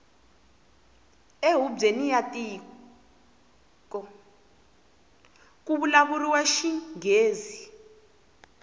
e hubyeni ya tiko kuvulavuriwa xingghezi